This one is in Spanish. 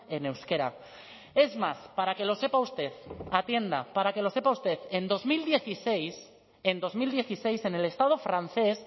en euskera es más para que lo sepa usted atienda para que lo sepa usted en dos mil dieciséis en dos mil dieciséis en el estado francés